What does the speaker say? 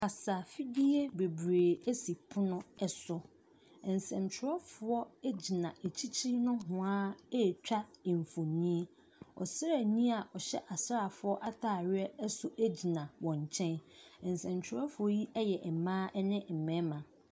Kasafidie bebree si pono so. Nsɛntwerɛfoɔ gyina akyirikyiri nohoa retwa mfonin. Ɔsraani a ɔhyɛ asraafoɔ atadeɛ nso gyina wɔn nkyɛn. Nsɛntwerɛfoɔ yi yɛ mmaa n mmarima.